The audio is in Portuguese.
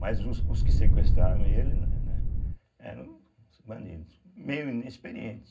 Mas os os que sequestraram ele, né, né eram bandidos, meio inexperientes.